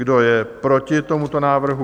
Kdo je proti tomuto návrhu?